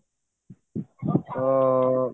ତ